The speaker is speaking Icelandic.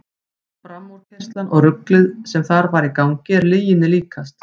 Framúrkeyrslan og ruglið sem þar var í gangi er lyginni líkast.